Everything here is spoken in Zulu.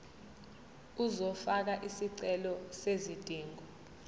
uzofaka isicelo sezidingo